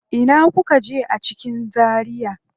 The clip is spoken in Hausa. Ina kuka je a cikin Zaria?